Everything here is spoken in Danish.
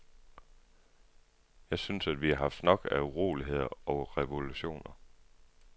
Jeg synes, at vi har haft nok af uroligheder og revolutioner.